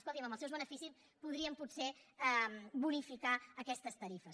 escolti amb els seus beneficis podríem potser bonificar aquestes tarifes